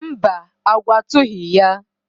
mba, agwọ atụghị ya.